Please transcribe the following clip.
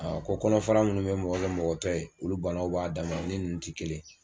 ko kɔnɔfa munnu be mɔgɔ kɛ mɔgɔ tɔ ye olu banaw b'a dan ma, o ni ninnu ti kelen.